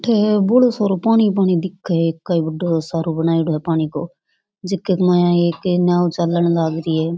अठ बोलो सारों पानी पानी दिखे है कई बड़ो सारो बनायेडॉ है पानी को जिक के माया एक नाओ चालन लाग री है।